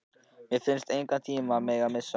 Mér fannst ég engan tíma mega missa.